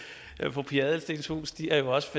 fru pia adelsteens hus stiger jo også